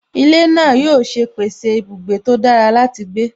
Ilé náà yóò ṣe pèsè ibùgbé tó dára láti gbé